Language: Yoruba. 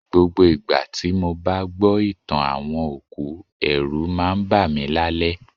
Gbogbo ìgbà tí mo bá gbọ́ ìtàn àwọn òkú, ẹ̀rù máa ń bá mi lálẹ́